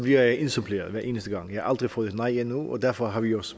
jeg indsuppleret hver eneste gang jeg har aldrig fået et nej endnu og derfor har vi også